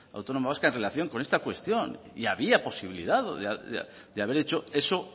autónoma vasca en relación con esta cuestión y había posibilidad de haber hecho eso